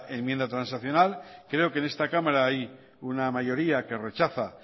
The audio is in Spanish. enmienda transaccional creo que en esta cámara hay una mayoría que rechaza